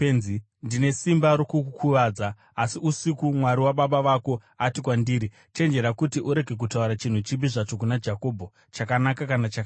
Ndine simba rokukukuvadza; asi usiku Mwari wababa vako ati kwandiri, ‘Chenjera kuti urege kutaura chinhu chipi zvacho kuna Jakobho, chakanaka kana chakaipa.’